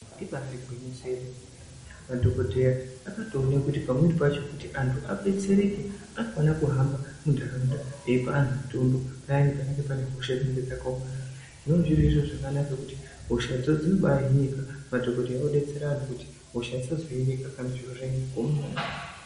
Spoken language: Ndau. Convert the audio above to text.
Ibaari gwinyiso remene madhokodheya akatoona kuti anthu adetsereke anofana kuhamba munharaunda eipe anthu mutombonpayani panenge pane hosha dzakaomarara zvinonga zviri zviro zvakanaka ngekuti hoshadzo dzinobaahinika madhokodheya odetsera anthu kuti hosha dzisazohinika kana zviro zvanyanya kuoma maningi.